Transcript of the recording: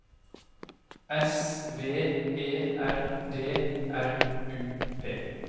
S V E R D R U P